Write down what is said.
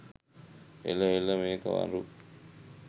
එල එල මේක මරු